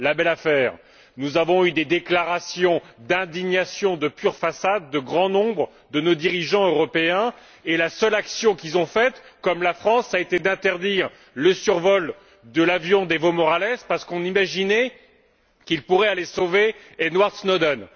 La belle affaire! Nous avons eu des déclarations d'indignation de pure façade de bon nombre de nos dirigeants européens et la seule action qu'ils ont entreprise, comme la France, a été d'interdire le survol de l'avion d'EvoMorales parce qu'on imaginait qu'il pouvait aller sauver EdwardSnowden.